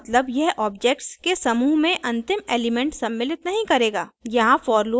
noninclusive का मतलब यह ऑब्जेक्ट्स के समूह में अंतिम एलिमेंट सम्मिलित नहीं करेगा